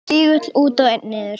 Tígull út og einn niður.